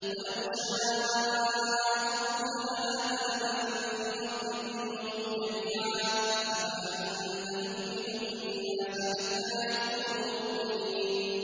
وَلَوْ شَاءَ رَبُّكَ لَآمَنَ مَن فِي الْأَرْضِ كُلُّهُمْ جَمِيعًا ۚ أَفَأَنتَ تُكْرِهُ النَّاسَ حَتَّىٰ يَكُونُوا مُؤْمِنِينَ